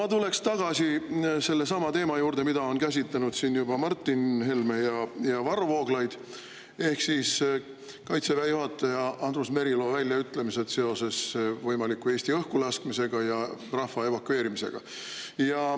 Ma tulen tagasi sellesama teema juurde, mida on juba käsitlenud Martin Helme ja Varro Vooglaid: Kaitseväe juhataja Andrus Merilo väljaütlemised seoses Eesti võimaliku õhkulaskmisega ja rahva evakueerimisega.